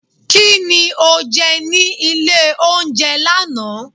ki ní oje ní ilé oúnjẹ laná?